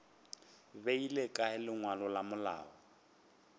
beile kae lengwalo la malao